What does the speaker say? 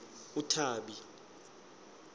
uthabi